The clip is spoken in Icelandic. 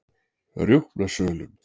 Rjúpnasölum